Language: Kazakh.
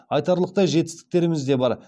айтарлықтай жетістіктеріміз де бар